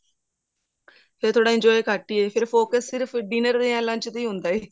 ਫ਼ੇਰ ਥੋੜਾ enjoy ਘੱਟ ਹੀ ਹੈ ਫ਼ੇ focus ਸਿਰਫ dinner ਜਾਂ lunch ਤੇ ਹੀ ਹੁੰਦਾ ਹੈ